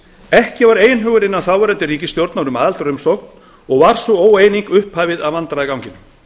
ekki var einhugur innan þáverandi ríkisstjórnar um aðildarumsókn og var sú óeining upphafið að vandræðaganginum